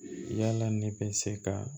Yala ne bɛ se ka